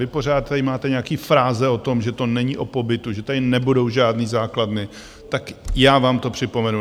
Vy pořád tady máte nějaké fráze o tom, že to není o pobytu, že tady nebudou žádné základny, tak já vám to připomenu.